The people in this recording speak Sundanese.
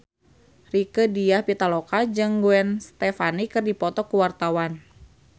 Rieke Diah Pitaloka jeung Gwen Stefani keur dipoto ku wartawan